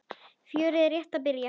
Fjörið er rétt að byrja.